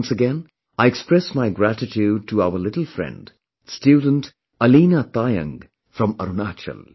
Once again, I express my gratitude to our little friend, student Aleena Taayang from Arunachal